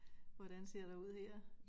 Hvordan ser der ud her